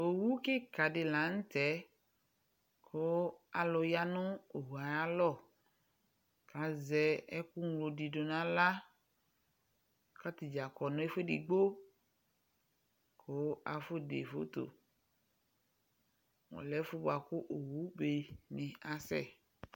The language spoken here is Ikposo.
Owu kika de lantɛ ko alu ya mo owue ayalɔ ka zɛ ɛku ñlo de nahla ka ata dza kɔ nɛfo edigbo ko afɔde fotoƆlɛ ɛfo boako owube ne asɛ